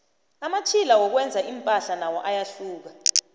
amatjhila wokwenza impahla nawo ayahluka